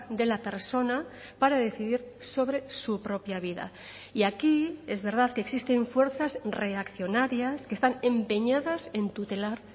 de la persona para decidir sobre su propia vida y aquí es verdad que existen fuerzas reaccionarias que están empeñadas en tutelar